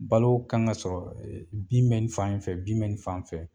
Balo kan ka sɔrɔ bin be nin fan in fɛ bin be nin fan in fɛ